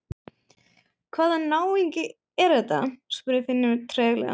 Hvaða náungi er þetta? spurði Finnur treglega.